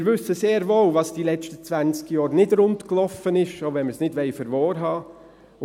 Wir wissen sehr wohl, was die letzten 20 Jahre nicht rundliefen, selbst wenn wir es nicht wahrhaben wollen.